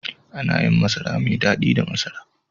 Ana yin masara mai dadi da masara.